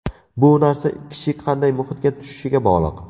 Bu narsa kishi qanday muhitga tushishiga bog‘liq.